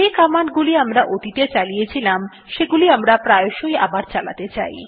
যে কমান্ড গুলি আমরা অতীতে চালিয়েছিলাম সেগুলি আমরা প্রায়শই আবার চালাতে চাই